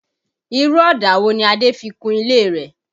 Irú ọ̀dà wo ni Adé fi kun ilé rẹ̀?